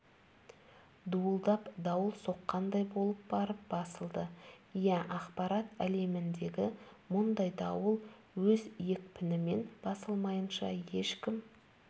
дуылдап дауыл соққандай болып барып басылды иә ақпарат әлеміндегі мұндай дауыл өз екпінімен басылмайынша ешкім